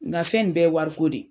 N ka fɛn ni bɛ ye wariko de ye.